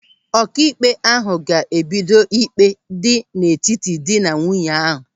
Ọkaikpe ahụ ga-ebido ịkpe dị n'etiti dị na nwunye ahụ.